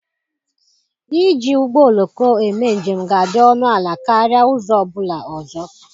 Iji ụgbọ oloko eme njem ga-adị ọnụ ala karịa ụzọ ọ bụla ọzọ.